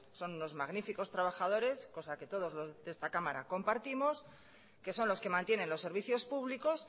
son unos magníficos trabajadores cosa que todos los de esta cámara compartimos que son los que mantienen los servicios públicos